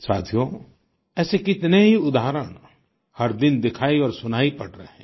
साथियो ऐसे कितने ही उदाहरण हर दिन दिखाई और सुनाई पड़ रहे हैं